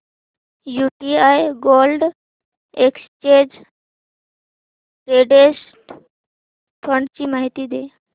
UTI gold exchange traded fund ची माहिती दे